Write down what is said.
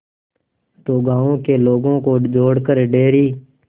दो गांवों के लोगों को जोड़कर डेयरी